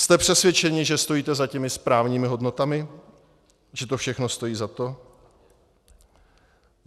Jste přesvědčeni, že stojíte za těmi správnými hodnotami, že to všechno stojí za to?